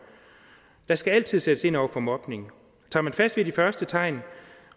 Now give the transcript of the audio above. der skal altid sættes ind over for mobning tager man fat ved de første tegn